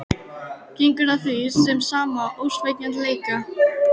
Gengur að því með sama ósveigjanleika.